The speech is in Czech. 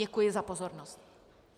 Děkuji za pozornost.